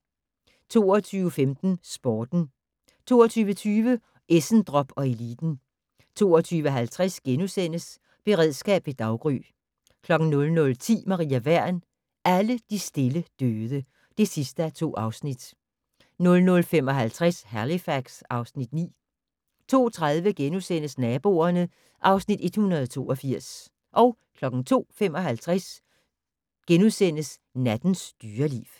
22:15: Sporten 22:20: Essendrop & Eliten 22:50: Beredskab ved daggry * 00:10: Maria Wern: Alle de stille døde (2:2) 00:55: Halifax (Afs. 9) 02:30: Naboerne (Afs. 182)* 02:55: Nattens dyreliv *